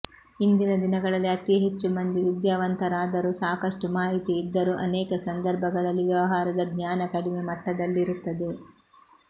ಇಂದಿನ ದಿನಗಳಲ್ಲಿ ಅತೀ ಹೆಚ್ಚು ಮಂದಿ ವಿದ್ಯಾವಂತರಾದರೂ ಸಾಕಷ್ಟು ಮಾಹಿತಿ ಇದ್ದರೂ ಅನೇಕ ಸಂದರ್ಭಗಳಲ್ಲಿ ವ್ಯವಹಾರದ ಜ್ಞಾನ ಕಡಿಮೆ ಮಟ್ಟದಲ್ಲಿರುತ್ತದೆ